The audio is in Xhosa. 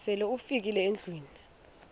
sele ufikile endlwini